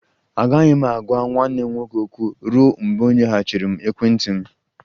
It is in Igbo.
Agaghị m agwa nwanne m nwoke okwu ruo mgbe ọ nyeghachiri ekwentị m